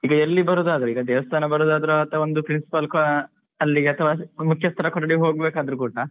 ಈಗ ಎಲ್ಲಿ ಬರುದಾದ್ರೆ ಈಗ ದೇವಸ್ಥಾನ ಬರುದಾದ್ರು ಅಥವಾ ಒಂದು principal ಅಲ್ಲಿಗೆ ಅಥವಾ ಮುಖ್ಯಸ್ಥರ ಕೊಠಡಿ ಹೋಗ್ಬೇಕಾದ್ರು ಕೂಡ